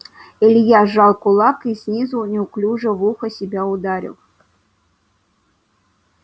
илья сжал кулак и снизу неуклюже в ухо себя ударил